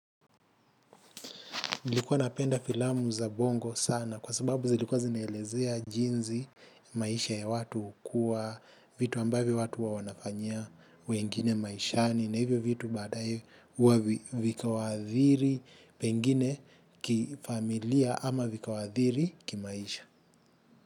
Nilikuwa napenda filamu za bongo sana kwa sababu zilikuwa zinaelezea jinzi maisha ya watu ukua, vitu ambavyo watu huwa huwa wanafanyia wengine maishani na hivyo vitu baadae huwa vikawaadhiri pengine kifamilia ama vikawaadhiri kimaisha.